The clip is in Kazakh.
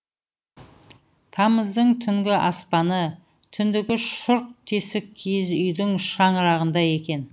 тамыздың түнгі аспаны түндігі шұрқ тесік киіз үйдің шаңырағындай екен